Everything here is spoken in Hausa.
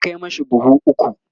za'a Kai mashi buhu ukwu